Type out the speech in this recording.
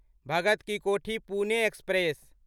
Bhagat ki Kothi Pune express